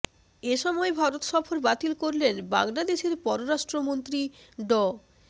এ সময় ভারত সফর বাতিল করলেন বাংলাদেশের পররাষ্ট্রমন্ত্রী ড